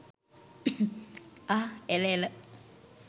අහ්හ් එල එල.